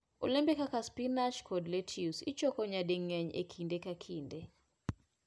Olembe kaka spinach kod lettuce ichoko nyading'eny e kinde ka kinde.